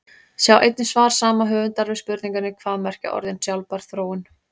Sjá einnig svar sama höfundar við spurningunni Hvað merkja orðin sjálfbær þróun?